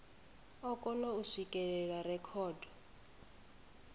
o kona u swikelela rekhodo